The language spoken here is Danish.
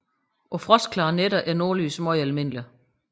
På frostklare nætter er nordlys meget almindeligt